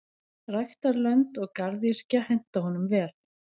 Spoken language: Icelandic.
Ræktarlönd og garðyrkja henta honum vel.